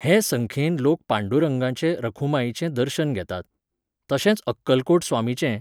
हे संख्येन लोक पांडुरंगाचें रखुमाईचें दर्शन घेतात, तशेंच अक्कलकोट स्वामीचें